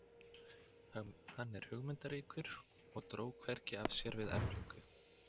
Hann var hugmyndaríkur og dró hvergi af sér við eflingu